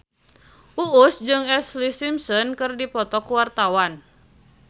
Uus jeung Ashlee Simpson keur dipoto ku wartawan